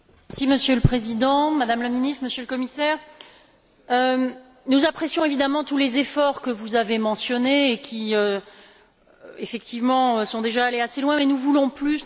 Monsieur le Président, Madame la Ministre, Monsieur le Commissaire, nous apprécions évidemment tous les efforts que vous avez mentionnés et qui, effectivement, sont déjà allés assez loin, mais nous voulons plus.